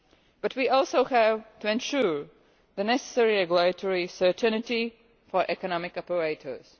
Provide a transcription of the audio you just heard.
But we also have to ensure the necessary regulatory certainty for economic operators.